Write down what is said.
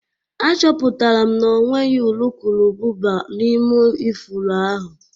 Achọpụtara m na ọ nweghị urukurubụba n'ime ifuru ahụ